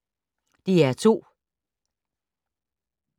DR2